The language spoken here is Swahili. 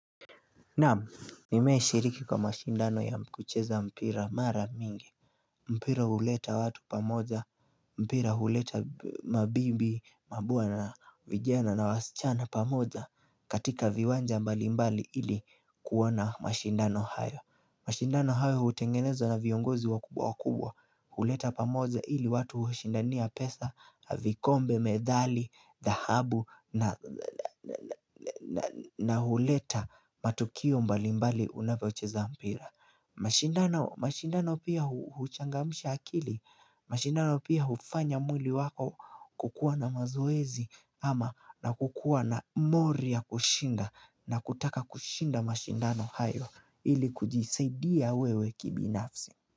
Naam, nimewahi shiriki kwa mashindano ya kucheza mpira mara mingi mpira huleta watu pamoja, mpira huleta mabibi, mabwana na vijana na wasichana pamoja katika viwanja mbalimbali ili kuona mashindano hayo. Mashindano hayo hutengenezwa na viongozi wakubwa wakubwa. Huleta pamoja ili watu hushindania pesa, na vikombe, methali, dhahabu na huleta matukio mbalimbali unavyocheza mpira mashindano pia huchangamsha akili. Mashindano pia hufanya mwili wako kukuwa na mazoezi ama na kukuwa na mori ya kushinda. Na kutaka kushinda mashindano hayo ili kujisaidia wewe kibinafsi.